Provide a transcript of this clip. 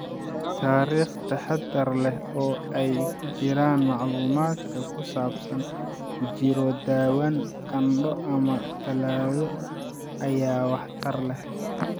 Taariikh taxaddar leh, oo ay ku jiraan macluumaadka ku saabsan jirro dhawaan, qandho, ama tallaallo ayaa waxtar leh.